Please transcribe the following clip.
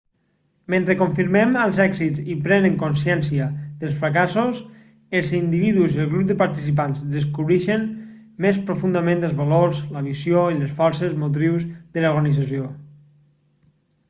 mentre confirmen els èxits i prenen consciència dels fracassos els individus i el grup de participants descobreixen més profundament els valors la missió i les forces motrius de l'organització